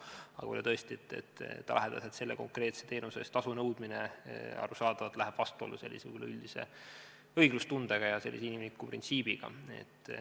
Aga tõesti, lähedaselt selle konkreetse teenuse eest tasu nõudmine läheb arusaadavalt vastuollu üleüldise õiglustunde ja inimliku printsiibiga.